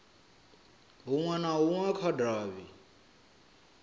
hunwe na hunwe kha davhi